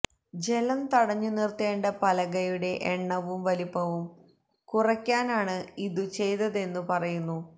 ജലം തടഞ്ഞു നിര്ത്തേണ്ട പലകയുടെ എണ്ണവും വലിപ്പവും കുറക്കാനാണ് ഇതു ചെയ്തതെന്നു പറയുന്നു